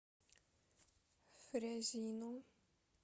фрязино